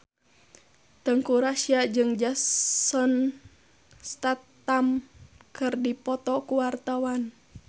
Teuku Rassya jeung Jason Statham keur dipoto ku wartawan